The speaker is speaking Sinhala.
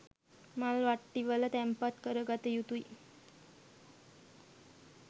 මල් වට්ටිවල තැන්පත් කර ගත යුතුය.